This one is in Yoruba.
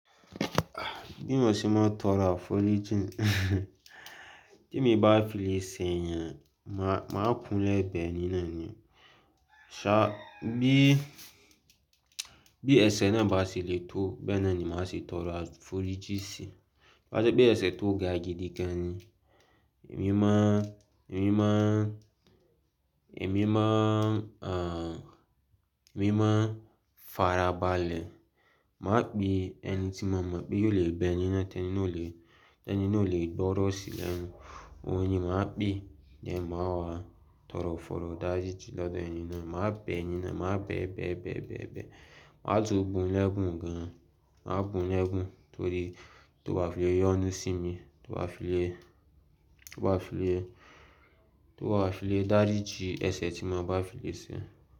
Bí mo ṣe máa ń tọrọ àforíjìn, tí èmi bá fi lè ṣẹ èèyàn, màá kúnlẹ̀ bẹ ẹni náà ni sa bi, bí ẹ̀ṣẹ̀ náà bá ṣe le tó bẹ́ẹ̀ náà ni ma ṣe tọrọ àforíjì sí. Tó bá ṣe pé ẹ̀ṣẹ̀ tó ga gidi gan ni, èmi ma, èmi ma, èmi ma ń, èmi máa ń farabalẹ̀. Ma pè ẹnití mo ma pè yóò lè bẹ ẹni náà tí ẹni ò le, tí ẹni ò le gbọ́rọ̀ sí lẹ́nu. Òhun ni màá pè then, màá wá tọrọ foro ìdáríjì lode ẹni náà. Màá bẹ ẹni náà, màá bẹ bẹ, bẹ, bẹ, bẹ. Ma tún bùn lẹ́bùn gan. Màá bùn lẹ́bùn torí tó bá file yọ́nú sí mi, tó bá file, tó bá file, tó bá file dáríjìn ẹ̀ṣẹ̀ tí mo bá file ṣẹ.